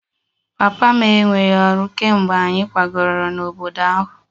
Papa m enweghị ọrụ kemgbe anyị kwagara n'obodo ahụ